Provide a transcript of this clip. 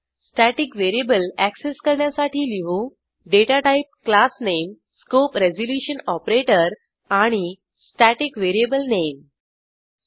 static variable access करण्यासाठी लिहू data type class name scope resolution operator आणि स्टॅटिक व्हेरिएबल नामे